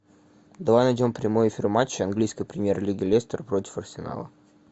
давай найдем прямой эфир матча английской премьер лиги лестер против арсенала